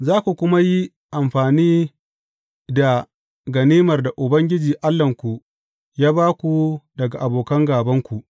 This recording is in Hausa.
Za ku kuma yi amfani da ganimar da Ubangiji Allahnku ya ba ku daga abokan gābanku.